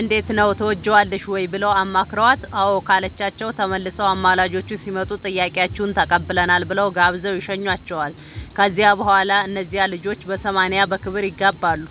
እንዴት ነው ትወጅዋለሽ ወይ ብለው አማክረዋት አዎ ካለቻቸው ተመልሰው አማላጆቹ ሲመጡ ጥያቄያችሁን ተቀብለናል ብለው ጋብዘው ይሸኙዋቸዋል ከዚያ በኋላ እነዚያ ልጆች በሰማንያ በክብር ይጋባሉ።